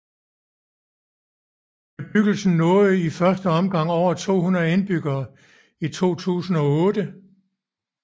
Bebyggelsen nåede for første gang over tohundrede indbyggere i 2008